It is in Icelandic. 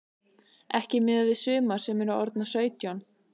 Ekki miðað við sumar sem eru orðnar sautján.